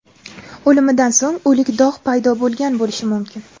O‘limidan so‘ng o‘lik dog‘ paydo bo‘lgan bo‘lishi mumkin.